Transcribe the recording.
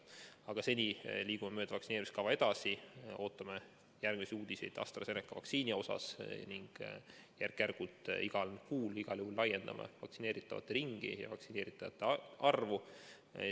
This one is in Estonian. Aga seni liigume vaktsineerimiskava järgi edasi, ootame uudiseid AstraZeneca vaktsiini kohta ning järk-järgult igas kuus igal juhul laiendame vaktsineeritavate ringi ja suurendame vaktsineeritavate arvu.